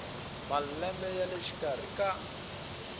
malembe ya le xikarhi ka